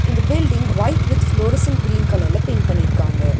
இந்த building white with fluorescent green கலர்ல paint பண்ணியிருக்காங்க.